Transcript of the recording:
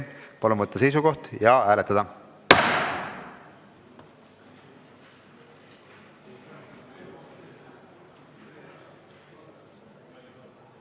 Palun võtta seisukoht ja hääletada!